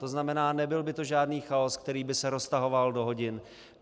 To znamená, nebyl by to žádný chaos, který by se roztahoval do hodin.